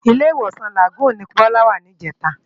Ilé-Iwósán Lágùn ni Bola wá nijètá